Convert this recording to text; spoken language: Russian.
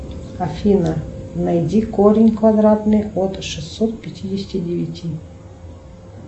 афина найди корень квадратный от шестьсот пятидесяти девяти